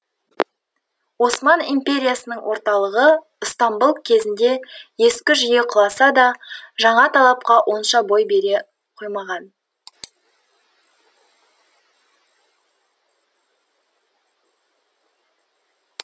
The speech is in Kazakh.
осман империясының орталығы ыстамбұл кезінде ескі жүйе құласа да жаңа талапқа онша бой бере қоймаған